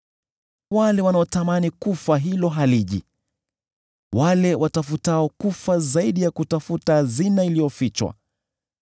wale wanaotamani kifo ambacho hakiji, wale watafutao kufa zaidi ya kutafuta hazina iliyofichwa,